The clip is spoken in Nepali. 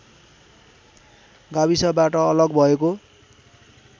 गाविसबाट अलग भएको